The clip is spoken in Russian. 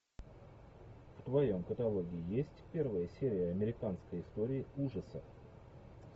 в твоем каталоге есть первая серия американской истории ужасов